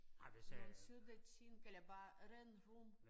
Nogle søde ting eller bare ren rom